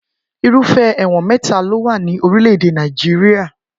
Irúfẹ́ ẹ̀wọ̀n mẹ́ta ló wà ní orílẹ̀-èdè Nàìjíríà